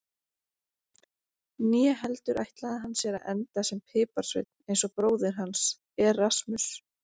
Né heldur ætlaði hann sér að enda sem piparsveinn eins og bróðir hans, Erasmus.